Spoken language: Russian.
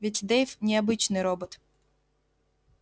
ведь дейв не обычный робот